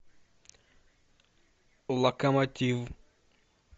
локомотив